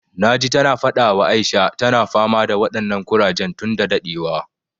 Na ji ta na faɗa wa Aisha, ta na fama da waɗannan ƙurajen tun da daɗewa